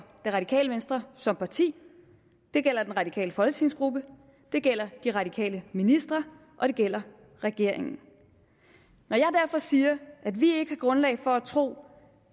det radikale venstre som parti det gælder den radikale folketingsgruppe det gælder de radikale ministre og det gælder regeringen når jeg derfor siger at vi ikke har grundlag for at tro